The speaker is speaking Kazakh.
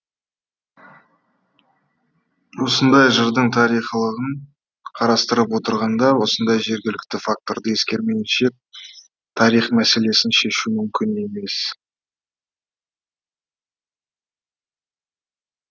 осындай жырдың тарихилығын қарастырып отырғанда осындай жергілікті факторды ескермейінше тарих мәселесін шешу мүмкін емес